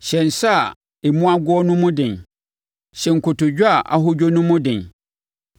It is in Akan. Hyɛ nsa a emu ago no mu den, hyɛ nkotodwe a ahodwo no mu den;